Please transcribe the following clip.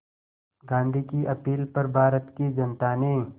गांधी की अपील पर भारत की जनता ने